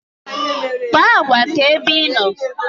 Kpaa agwa ka ebe ịnọ